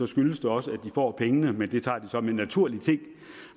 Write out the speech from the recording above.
skyldes det også at de får pengene men det tager de som en naturlig ting